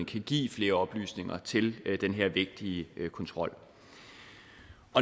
kan give flere oplysninger til den her vigtige kontrol